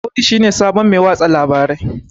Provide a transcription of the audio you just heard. Audu shi ne sabon Mai watsa labarai